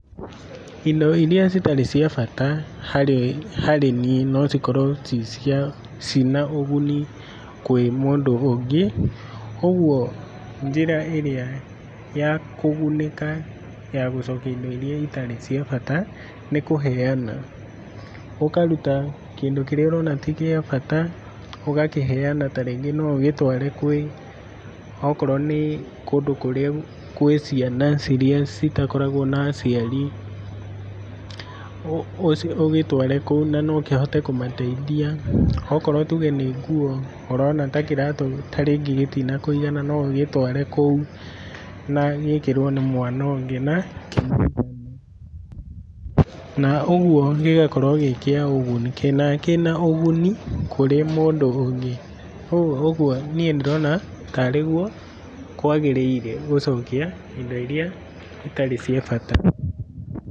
Indo irĩa citarĩ cia bata harĩ arĩmi nocikorwe cina ũguni kwĩ mũndũ ũngĩ, uguo njĩra ĩrĩa ya kũgunĩka ya gũcokia indo irĩa itarĩ cia bata nĩ kũheana, ũkaruta kĩndũ kĩrĩa ũrona tĩ kĩabata, ũgakĩheana ta rĩngĩ nougĩtware kwĩ okorwo ni, kũndũ kũrĩa kwĩ ciana ciria citakoragwo na aciari, ũgĩtware kũu na nokĩhhote kũmateithia ta tuge nĩ nguo ũrona ta kĩratũ ta rĩngĩ gĩtĩnakũigana noũgĩtware kũu na gĩkĩrwe nĩ mwana ũngĩna ũgũo gĩgakorwo kĩnaũguni kũrĩ mũndũ ũngĩ ,ũguo niĩ nĩ ndĩrona ta rigwo kwagĩrĩire gũcokia indo iria itarĩ cia bata.